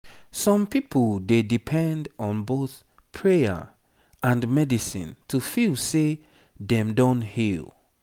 some people dey depend on both prayer and medicine to feel say dem don heal